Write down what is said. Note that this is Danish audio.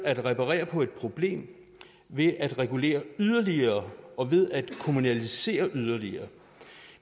at reparere et problem ved at regulere yderligere og ved at kommunalisere yderligere